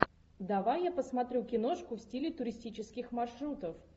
давай я посмотрю киношку в стиле туристических маршрутов